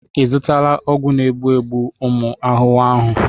Ị zụtala ọgwụ na-egbu ụmụ ahụhụ ahụ?